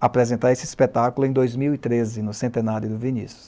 apresentar esse espetáculo em dois mil e treze, no centenário do Vinícius.